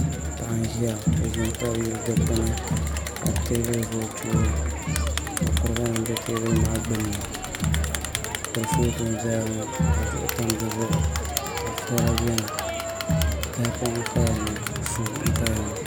Paɣa n ʒiya o ʒimi tabi yili dikpuni ka teebuli ʒɛ o tooni ka kuriga nim bɛ teebuli maa gbunni kurifooti n ʒɛya ŋo ka duɣu tam dizuɣu ka sala biɛni tahapoŋ n paya ŋo suu n paya ŋo